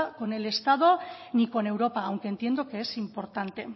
con el estado ni con europa aunque entiendo que es importante